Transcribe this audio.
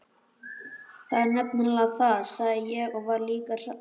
Það er nefnilega það, sagði ég og var líka hrærður.